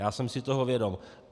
Já jsem si toho vědom.